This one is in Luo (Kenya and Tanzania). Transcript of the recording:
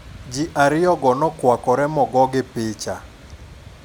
Ji ariyogo nokwakore mogogi picha.